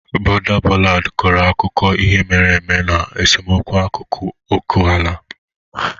Border ballad kọrọ akụkọ ihe mere eme na esemokwu n'akụkụ oke ala.